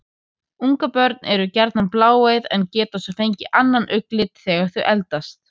Ungabörn eru gjarnan bláeygð en geta svo fengið annan augnlit þegar þau eldast.